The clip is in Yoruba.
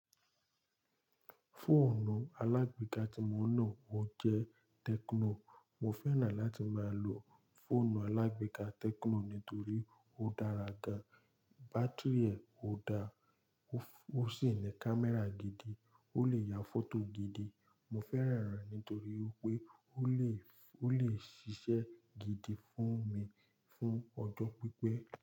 Fóònù alágbéka tí mo ń lò, ó jẹ́ Tecno. Mo fẹ́ràn láti máa lo fónù alágbéka Tecno nítorí ó dára gan, bátíìrì ẹ̀ ó da, ó sì ní kámẹ́rà gidi, ó lè ya fótò gidi. Mo fẹ́ràn rẹ̀ nítorí wípé ó lè, ó lè ṣiṣẹ́ gidi fún mi, fún ọjọ́ pípẹ́.